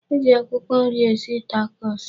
E ji akwụkwọ nri esi takos.